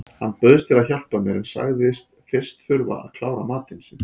Hann bauðst til að hjálpa mér en sagðist fyrst þurfa að klára matinn sinn.